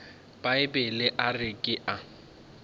bibele a re ke a